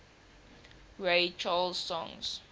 ray charles songs